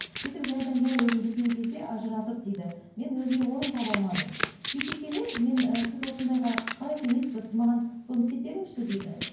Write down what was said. сөйтіп жайдан жай өзім жүрген кезде ажырасып дейді мен өзіме орын таба алмадым сөйте келе мен і сіз осындайға қалай сенесіз бе сіз маған соны істеп беріңізші дейді